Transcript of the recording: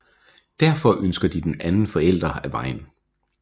Derfor ønsker de den anden forælder af vejen